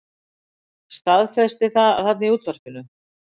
Staðfesti það þarna í útvarpinu.